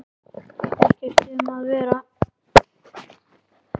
Ekkert um að vera.